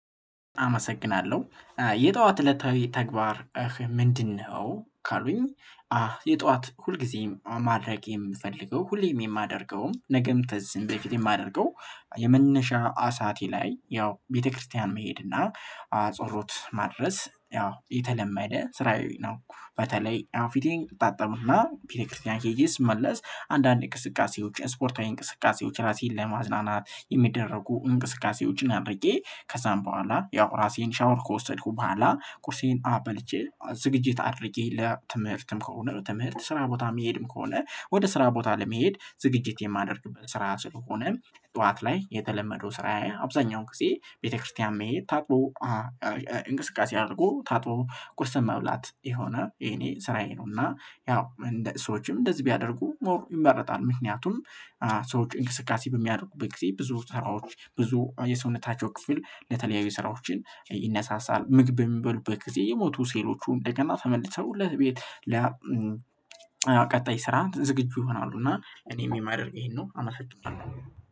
አመሰግናለሁ የጠዋት እለታዊ ተግባር ምንድነው? ካሉኝ የጠዋት ሁልጊዜም ማድረግ የምፈልገው ሁሌም የማደርገውም ነገም ተዚም በፊት የማደርገው የመነሻ አሳቴ ላይ ያው ቤተክርስቲያን መሄድና ጸሎት ማድረስ ያው የተለመደ ስራዬ ነው። በተለይ ፊቴን እታጠብና ቤተክርስቲያን ሄጄ ስመለስ አንዳንድ እንቅስቃሴዎች ስፖርታዊ እንቅስቃሴዎች ራሴን ለማዝናናት የሚደረጉ እንቅስቃሴዎችን አድርጌ ከዛም በኋላ ያው ራሴን ሻወር ከወሰድኩ በኋላ ቁርሴን አ በልቼ ዝግጅት አድርጌ ለትምህርትም ከሆነ ትምህርት ስራ ቦታ መሄድም ከሆነ ወደ ስራ ቦታ ለመሄድ ዝግጅት የማደርግበት ስራ ስለሆነ ጠዋት ላይ የተለመደው ስራ አብዛኛው ጊዜ ቤተክርስቲያን መሄድ ታጥቦ እንቅስቃሴ አድርጎ ታጥቦ ቁርስን መብላት የሆነ የኔ ስራዬ ነው። እና ያው ሰዎችም እንደዚህ ቢያደርጉ ሞር ይመረጣል ምክንያቱም ሰዎች እንቅስቃሴ በሚያደርጉበት ጊዜ ብዙ ስራዎች ብዙ የሰውነታቸው ክፍል ለተለያዩ ስራዎችን ይነሳሳል ምግብ በሚበሉበት ጊዜ የሞቱ ሴሎቹ እንደገና ተመልሰው ለቤት ለ ስራ ዝግጁ ይሆናሉ። እና እኔም የማደርግ ይሄንን አመሰግናለሁ